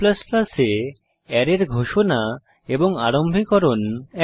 C এ অ্যারের ঘোষণা এবং আরম্ভীকরণ একই